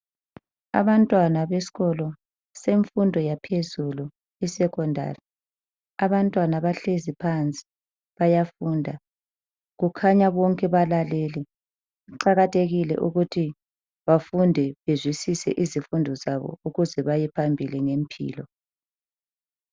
Abantwana besikolo bemfundo yaphezulu isecondary abantwana bahlezi phansi bayafunda. Kukhanya bonke balalele, kuqakathekile ukuthi bafunde bazwisise izifundo zabo ukuze bayephambili ngempilo.